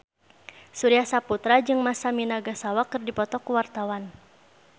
Surya Saputra jeung Masami Nagasawa keur dipoto ku wartawan